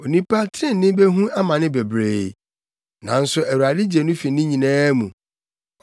Onipa trenee behu amane bebree nanso Awurade gye no fi ne nyinaa mu;